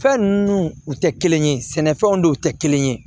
Fɛn ninnu u tɛ kelen ye sɛnɛfɛnw de tɛ kelen ye